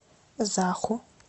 заху